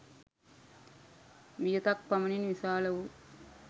වියතක් පමණින් විශාල වූ